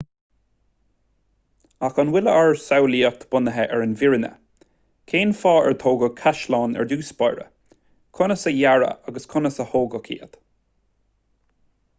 ach an bhfuil ár samhlaíocht bunaithe ar an bhfírinne cén fáth ar tógadh caisleáin ar dtús báire conas a dearadh agus a tógadh iad